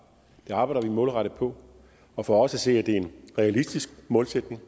det arbejder vi målrettet på og for os at se er det en realistisk målsætning